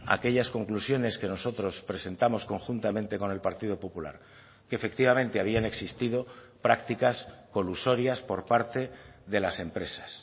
aquellas conclusiones que nosotros presentamos conjuntamente con el partido popular que efectivamente habían existido prácticas colusorias por parte de las empresas